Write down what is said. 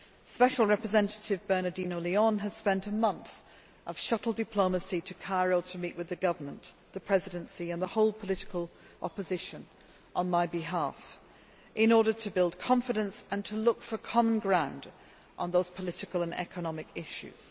Special Representative Bernardino Leon has spent a month of shuttle diplomacy to Cairo to meet with the government, the Presidency and the whole political opposition, on my behalf, in order to build confidence and to look for common ground on those political and economic issues.